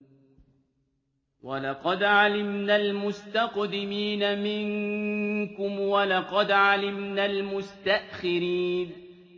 وَلَقَدْ عَلِمْنَا الْمُسْتَقْدِمِينَ مِنكُمْ وَلَقَدْ عَلِمْنَا الْمُسْتَأْخِرِينَ